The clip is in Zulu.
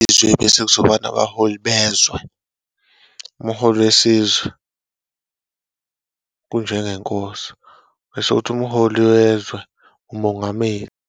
Bese kuzoba nabaholi bezwe. Umholi wesizwe, kunjengeNkosi, bese kuthi umholi wezwe, nguMongameli.